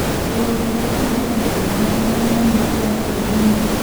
Rũhonge rwa kũhũrana na ungumania nimanyitire andũ anini